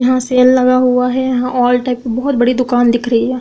यहाँ सेल लगा हुआ है यहाँ ऑल टाइप की बहुत बड़ी दुकान दिख रही है।